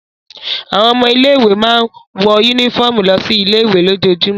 Àwọn ọmọ ilé-ìwé máa ń wọ únífọ́ọ́mù lọ sí ilé-ìwé lójoojúmọ́.